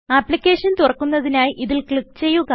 application തുറക്കുന്നതിനായി ഇതിൽ click ചെയ്യുക